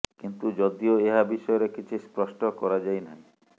କିନ୍ତୁ ଯଦିଓ ଏହା ବିଷୟରେ କିଛି ସ୍ପଷ୍ଟ କରାଯାଇ ନାହିଁ